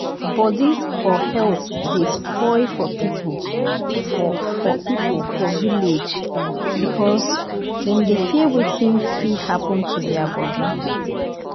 body or health dey spoil for people for for people for village because dem dey fear wetin fit happen to their body.